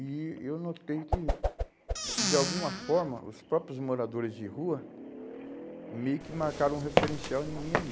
E eu notei que, que de alguma forma, os próprios moradores de rua meio que marcaram um referencial em mim ali.